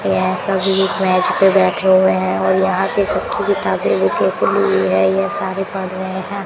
ये सभी बेंच पे बैठे हुए हैं और यहां पे सब की किताबें ये सारे पढ़ रहे हैं।